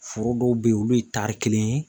Foro dɔw bɛ ye olu ye tari kelen ye.